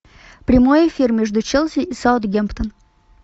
прямой эфир между челси и саутгемптон